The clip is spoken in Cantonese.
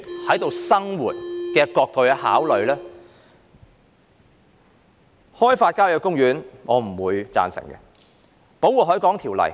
我不贊成開發郊野公園，亦不贊成檢討《保護海港條例》。